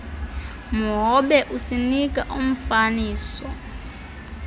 mhobe usinika umfaniso